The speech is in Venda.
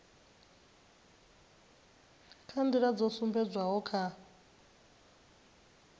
kha nḓila dzo sumbedzwaho kha